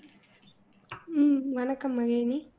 உம் வணக்கம் மகிழினி